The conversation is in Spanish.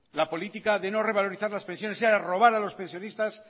la política de no revalorizar las pensiones era robar a los pensionistas